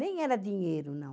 Nem era dinheiro, não.